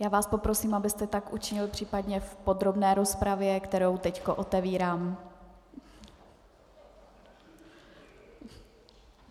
Já vás poprosím, abyste tak učinil případně v podrobné rozpravě, kterou teď otevírám.